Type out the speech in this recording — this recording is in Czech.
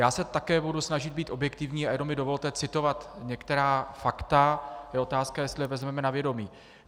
Já se také budu snažit být objektivní, a jenom mi dovolte citovat některá fakta, je otázka, jestli je vezmeme na vědomí.